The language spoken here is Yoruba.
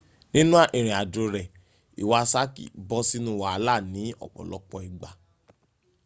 nínú ìrìnàjò rẹ´ iwasaki bọ sínú wàhálà ní ọ̀pọ̀lọpọ ìgbà